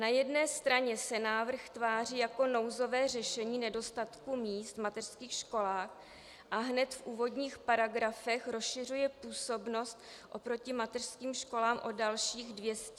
Na jedné straně se návrh tváří jako nouzové řešení nedostatku míst v mateřských školách, a hned v úvodních paragrafech rozšiřuje působnost oproti mateřským školám o dalších 200 tisíc míst.